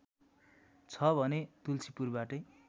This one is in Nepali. छ भने तुल्सीपुरबाटै